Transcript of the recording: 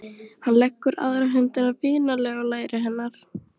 Hann leggur aðra hönd vinalega á læri hennar.